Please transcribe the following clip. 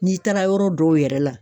N'i taara yɔrɔ dɔw yɛrɛ la